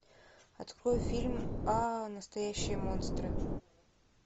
открой фильм а настоящие монстры